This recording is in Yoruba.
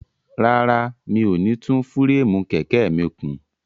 Rárá, mi ò ní tún fúréèmù kẹ̀kẹ́ mi kùn.